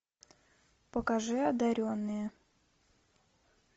покажи одаренные